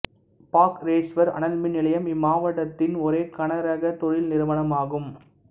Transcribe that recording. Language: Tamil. பாக்ரேஷ்வர் அனல் மின் நிலையம் இம்மாவட்டத்தின் ஒரே கனரக தொழில் நிறுவனம் ஆகும்